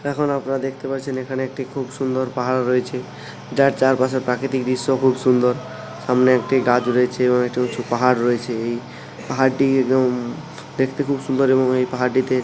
এখন আপনারা দেখতে পাচ্ছেন এখানে একটি খুব সুন্দর পাহাড় রয়েছে যার চারপাশে প্রাকৃতিক দৃশ্য খুব সুন্দর সামনে একটি গাছ রয়েছে এবং একটি উঁচু পাহাড় রয়েছে এই পাহাড়টির উম দেখতে খুব সুন্দর এবং এই পাহাড়টিতে--